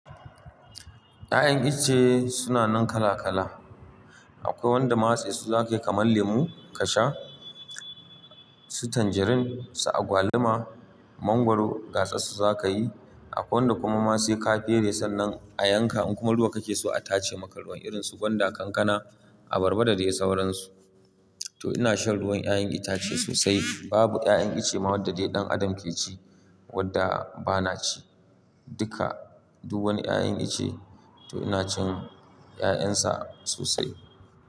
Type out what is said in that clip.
Ya'yan iche suna nan kala kala. Akwai wanda ma'ase su zaka yi kaman lemo ka sha, su tanjarin, su agwaluma, mangwaro gasa su zaka yi. Akwai wanda kuma ma sai ka fere sannan a yanka in kuma ruwa kake so a tace maka ruwan irin su gwanda, kankana, abarba da dai sauransu. To ina shan ruwan 'ya'yan itace sosai. Babu 'ya'yan iche wadda dai ɗan adam ke ci wadda ba na ci. Duka. Duk wani 'ya'yan itche to ina cin 'ya'yan sa sosai.